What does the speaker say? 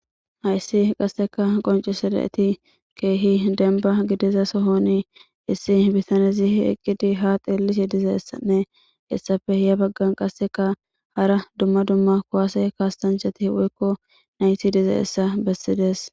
hayssi qasseka qoncisada7eti keehi denba gidiza sohoni issi bitanezi eqqidi ha xeellisye dizayisanne essape ya baggan qasseka hara dumma dumma kuwaase kaastanchati woykko nayti dizayissa bessides